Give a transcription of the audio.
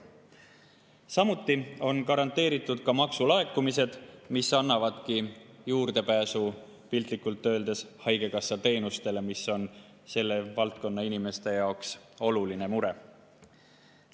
Samuti on garanteeritud maksulaekumised, mis annavadki juurdepääsu piltlikult öeldes haigekassateenustele, mis on selle valdkonna inimeste jaoks oluline mure.